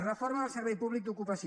reforma del servei públic d’ocupació